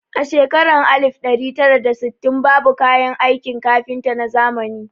A shekarun alif ɗari tara da sittin babu kayan aikin kafinta na zamani